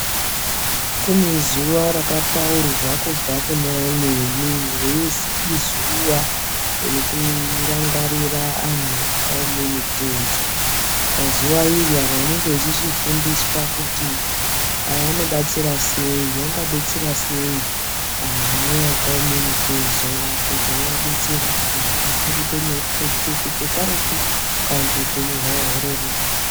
Kunezuva rakapaurwa kubva kunaamweni ruyizi izuva rekurangarira anhu akawome mutezo. Pazuwa iri anhu vanenge vechifundiswa kuti anobatsira seyi, angabetsera seyi anhu aya akawome mutezo kutiwowabetsera kuti zvikasire kuita nyore kukaretu kana kuti hupenyu hwawo ureruke.